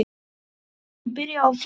Eruð þið kannski byrjuð á föstu?